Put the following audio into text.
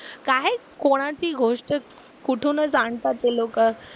काय कोणाची गोष्टच कुठूनच आणतात ते लोकं